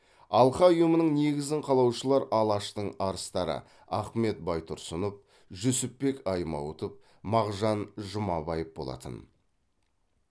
алқа ұйымының негізін қалаушылар алаштың арыстары ахмет байтұрсынов жүсіпбек аймауытов мағжан жұмабаев болатын